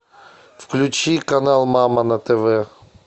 включи канал мама на тв